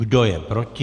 Kdo je proti?